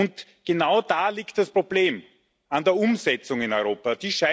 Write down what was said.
Und genau da liegt das Problem, bei der Umsetzung in Europa.